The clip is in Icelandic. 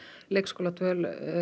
leikskóladvöl